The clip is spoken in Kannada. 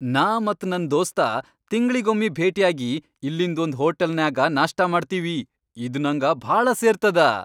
ನಾ ಮತ್ ನನ್ ದೋಸ್ತ ತಿಂಗ್ಳಿಗೊಮ್ಮಿ ಭೆಟ್ಯಾಗಿ ಇಲ್ಲಿಂದ್ ಒಂದ್ ಹೋಟಲ್ನ್ಯಾಗ ನಾಷ್ಟಾ ಮಾಡ್ತೀವಿ, ಇದ್ ನಂಗ ಭಾಳ ಸೇರ್ತದ.